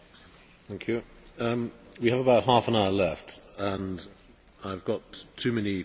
We have about half an hour left and I have too many questions for that time.